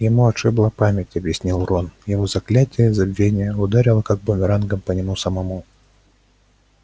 ему отшибло память объяснил рон его заклятие забвения ударило как бумерангом по нему самому